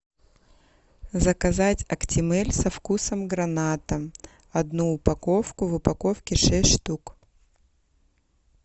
заказать актимель со вкусом граната одну упаковку в упаковке шесть штук